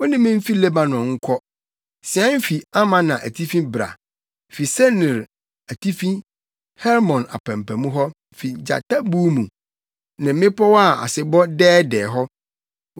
Ma yemfi Lebanon, mʼayeforo, wo ne me mfi Lebanon nkɔ. Sian fi Amana atifi bra, fi Senir atifi, Hermon apampam hɔ, fi gyata buw mu ne mmepɔw a asebɔ dɛɛdɛɛ hɔ.